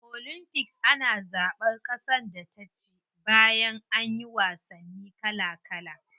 A olympics ana zaban kasar da ta ci bayan anyi wasanni kala kala.